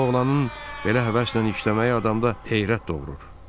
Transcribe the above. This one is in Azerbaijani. Bu oğlanın belə həvəslə işləməyi adamda heyrət doğurur.